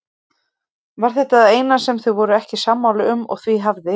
Var þetta það eina sem þau voru ekki sammála um og því hafði